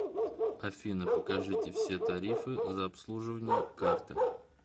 афина покажите все тарифы за обслуживание карты